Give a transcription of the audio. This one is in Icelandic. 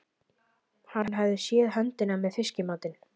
Hann hafði séð höndina með fiskamatinn.